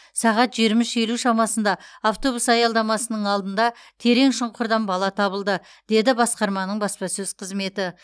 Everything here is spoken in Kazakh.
сағат жиырма үш елу шамасында автобус аялдамасының алдында терең шұңқырдан бала табылды деді басқарманың баспасөз қызметі